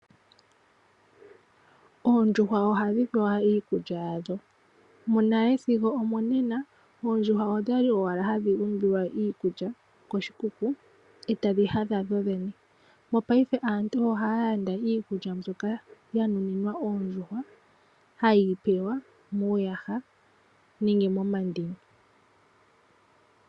Oondjuhwa ohadhi pewa iikulya yadho. Monale sigo omonena oondjuhwa odhali owala hadhi umbilwa iikulya koshikuku etadhi hadha dhodhene. Monena aantu ohaya landa iikulya mbyoka ya nuninwa oondjuhwa hayi pewa muuyaha nenge momandini.